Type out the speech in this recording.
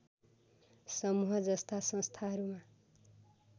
समूहजस्ता संस्थाहरूमा